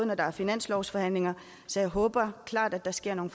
når der er finanslovsforhandlinger så jeg håber at der sker nogle